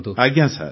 ଆଜ୍ଞା ସାର୍